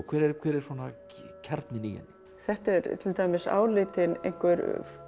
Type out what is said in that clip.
hver er hver er svona kjarninn í henni þetta er til dæmis álitinn einhver